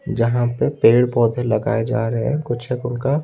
जहां पे पेड़ पौधे लगाए जा रहे है कुछ एक उनका--